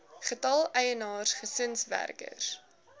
getal eienaars gesinswerkers